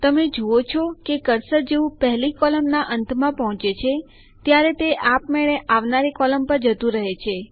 તમે જુઓ છો કે કર્સર જેવું પહેલી કોલમનાં અંતમાં પહુચે છે ત્યારે તે આપમેળે આવનારી કોલમ પર જતું રહે છે